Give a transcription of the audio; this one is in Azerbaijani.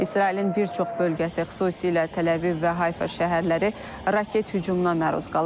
İsrailin bir çox bölgəsi, xüsusilə Təl-Əviv və Hayfa şəhərləri raket hücumuna məruz qalıb.